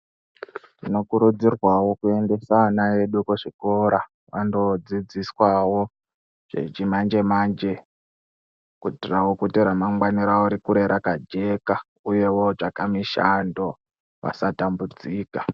Tino kuridzirwawo kuendesa vana vedu kuzvikora vando dzidziswa wo zvechimanje manje kuitirawo kuti ramangwani ravo rikure raka jeka, uyewo votsake mushando vasa tambudzika.